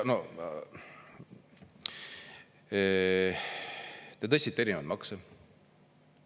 Te tõstsite erinevaid makse.